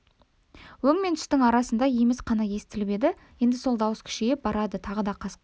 өң мен түстің арасындай еміс қана естіліп еді енді сол дауыс күшейіп барады тағы да қасқыр